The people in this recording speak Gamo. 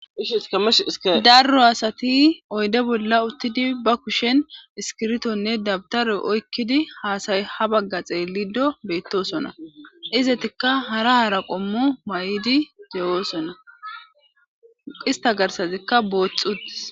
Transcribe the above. iashdarro asati oyde bolla uttidi ba kushen iskirtonne dabtaroy oykkidi haasay ha bagga xeelido beettosona izetikka hara hara qommu may7idi dewoosona qista garsazikka boothxutis